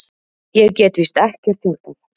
Ég get víst ekkert hjálpað.